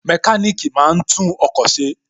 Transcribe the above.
Mẹkáníkì máa ń tún ọkọ̀ ṣe